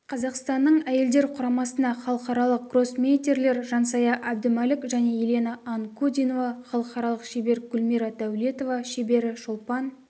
қазақстанның әйелдер құрамасына халықаралық гроссмейстерлер жансая әбдімәлік және елена анкудинова халықаралық шебер гүлмира дәулетова шебері шолпан